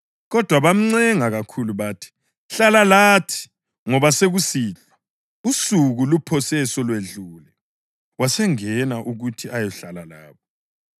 Kodwa bamncenga kakhulu bathi, “Hlala lathi ngoba sekusihlwa; usuku luphose selwedlule.” Wasengena ukuthi ayehlala labo.